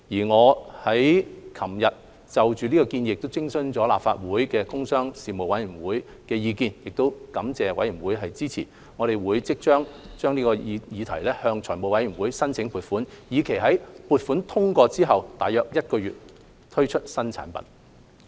我剛於昨日就建議徵詢立法會工商事務委員會，並感謝事務委員會的支持，且即將向財務委員會申請撥款，以期在撥款通過後約1個月推出新產品。